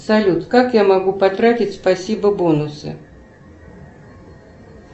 салют как я могу потратить спасибо бонусы